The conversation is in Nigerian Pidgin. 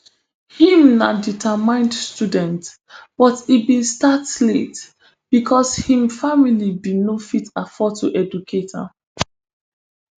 im na determined student but e bin start late becos im family bin no fit afford to educate am